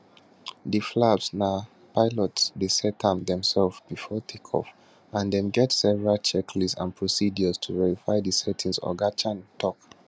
di flaps na pilots dey set am demsefs bifor take off and dem get several checklists and procedures to verify di setting oga chan tok